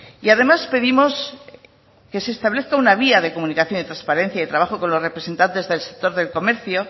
y además pedimos que se establezca una vía de comunicación y transparencia y trabajo con los representantes del sector del comercio